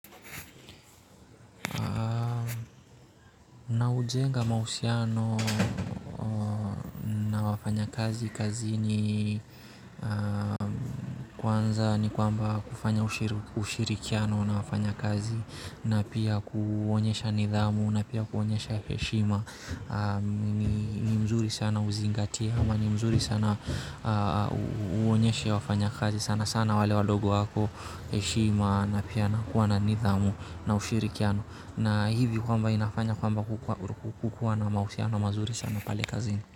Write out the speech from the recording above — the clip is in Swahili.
Naujenga mahusiano na wafanyakazi kazini kwanza ni kwamba kufanya ushirikiano na wafanyakazi na pia kuonyesha nidhamu na pia kuonyesha heshima ni mzuri sana uzingatie ama ni mzuri sana uonyeshe wafanya kazi sana sana wale walogo wako heshima na pia kuwa na nidhamu na ushirikiano na hivi kwamba inafanya kwamba kukuwa na mahusiano mazuri sana pale kazini.